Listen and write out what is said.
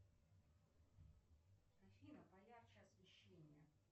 афина поярче освещение